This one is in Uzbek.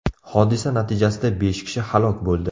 Hodisa natijasida besh kishi halok bo‘ldi .